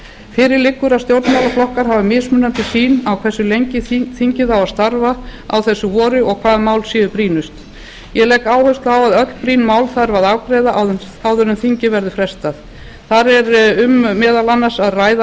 fyrir liggur að stjórnmálaflokkar hafa mismunandi sýn á hversu lengi þingið á að starfa á þessu vori og hvaða mál séu brýnust ég legg áherslu á að öll slík mál þarf að afgreiða áður en þingi verður frestað það verður meðal annars um að ræða